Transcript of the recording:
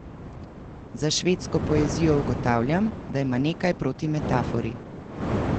Za švedsko poezijo ugotavljam, da ima nekaj proti metafori.